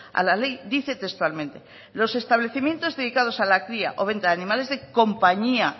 a la ley dice textualmente los establecimientos dedicados a la cría o venta de animales de compañía